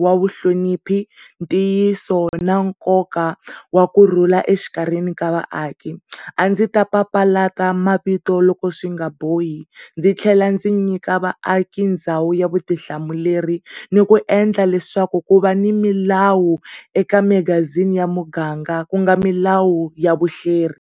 wa vu hloniphi, ntiyiso na nkoka wa kurhula exikandzeni ka vaaki. A ndzi ta papilla mavito loko swingabohi ndzi tlhela ndzi nyika vaaki ndhawu ya vutihlamuleri ni ku endla leswaku ku va ni milawu eka magazini ya muganga kunga milawu ya vuhleri.